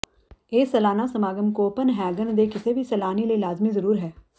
ਇਹ ਸਾਲਾਨਾ ਸਮਾਗਮ ਕੋਪਨਹੈਗਨ ਦੇ ਕਿਸੇ ਵੀ ਸੈਲਾਨੀ ਲਈ ਲਾਜ਼ਮੀ ਜ਼ਰੂਰ ਹੈ